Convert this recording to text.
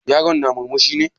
Yaron na murmushi ne?